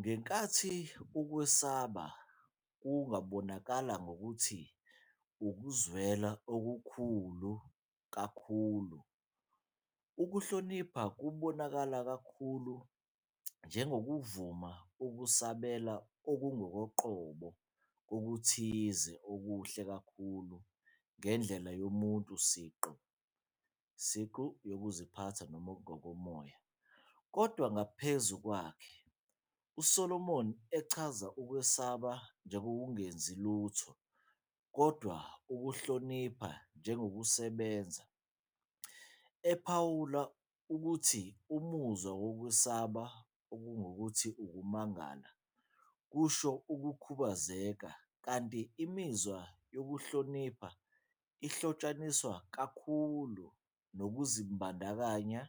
Ngenkathi ukwesaba kungabonakala ngokuthi "ukuzwela okukhulu kobukhulu," ukuhlonipha kubonakala kakhulu njengokuvuma ukusabela okungokoqobo kokuthile okuhle kakhulu ngendlela yomuntu siqu, yokuziphatha noma engokomoya, kodwa ngaphezu kwakhe" USolomoni uchaza ukwesaba njengokungenzi lutho, kodwa ukuhlonipha njengokusebenza, ephawula ukuthi umuzwa wokwesaba, okungukuthi, ukumangala, kusho ukukhubazeka, kanti imizwa yokuhlonipha ihlotshaniswa kakhulu nokuzibandakanya